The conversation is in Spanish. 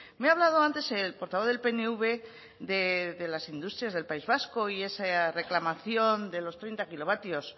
me ha hablado antes el portavoz del pnv de las industrias del país vasco y esa reclamación de los treinta kilovatios